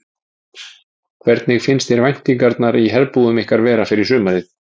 Hvernig finnst þér væntingarnar í herbúðum ykkar vera fyrir sumarið?